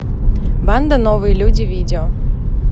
банда новые люди видео